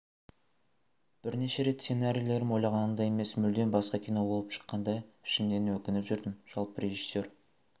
бірнеше рет сценарийлерім ойлағанымдай емес мүлдем басқа кино болып шыққанда ішімнен өкініп жүрдім жалпы режиссер